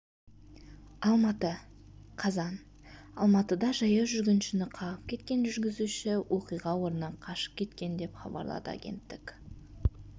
алматы қазан алматыда жаяу жүргіншіні қағып кеткен жүргізуші оқиға орнынан қашып кеткен деп хабарлады агенттік